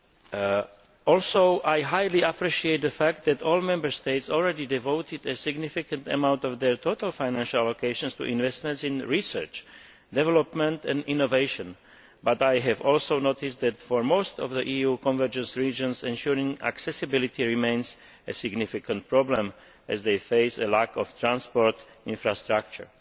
I also greatly appreciate the fact that all Member States have already devoted a significant amount of their total financial allocations to investments in research, development and innovation, but I have also noticed that, for most of the EU convergence regions, ensuring accessibility remains a significant problem as they face a lack of transport infrastructure.